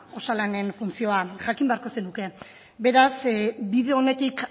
osalanen funtzioa jakin beharko zenuke beraz bide onetik